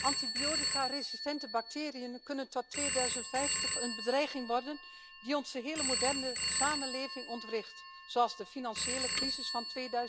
Antibioticaresistente bacteriën kunnen tot 2050 een bedreiging worden die onze hele moderne samenleving ontwricht, zoals de financiële crisis van